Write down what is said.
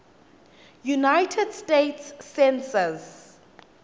united states census